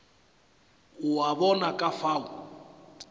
o a bona ka fao